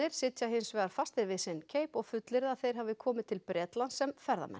sitja hins vegar fastir við sinn keip og fullyrða að þeir hafi komið til Bretlands sem ferðamenn